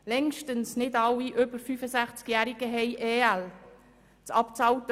Längstens nicht alle über 65-Jährigen beziehen EL.